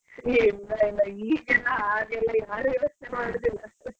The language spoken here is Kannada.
ಹೆ ಇಲ್ಲ ಇಲ್ಲ ಈಗೆಲ್ಲ ಹಾಗೆಲ್ಲ ಯಾರು ಯೋಚ್ನೆ ಮಾಡುದಿಲ್ಲ ಅಷ್ಟು.